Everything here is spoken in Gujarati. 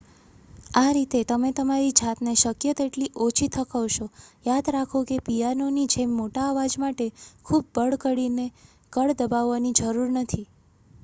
આ રીતે તમે તમારી જાતને શક્ય તેટલી ઓછી થકવશો યાદ રાખો કે પિયાનોની જેમ મોટા અવાજ માટે ખૂબ બળ કરીને કળ દબાવવાની જરૂર નથી